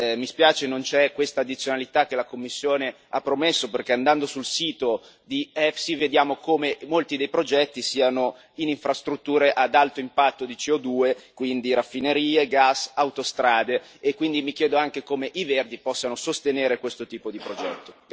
Mi spiace, non c'è questa addizionalità che la Commissione ha promesso perché, andando sul sito di EFSI, vediamo come molti dei progetti siano in infrastrutture ad alto impatto di CO2, quindi raffinerie, gas e autostrade, e quindi mi chiedo anche come i Verdi possano sostenere questo tipo di progetti.